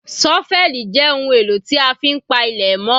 ṣọ́fẹ́lì jẹ́ ohun èlò tí a fi ń pa ilẹ̀ mọ́